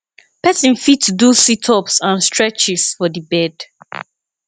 person fit do sit ups and streches for di bed